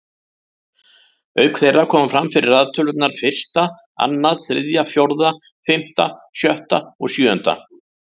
Auk þeirra koma fyrir raðtölurnar fyrsta, annað, þriðja, fjórða, fimmta, sjötta og sjöunda.